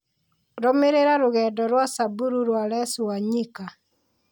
Rũmĩrĩra Rũgendo rwa Samburu rwa Les wanyika